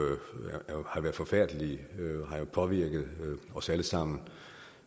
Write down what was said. har jo været forfærdelige og har påvirket os alle sammen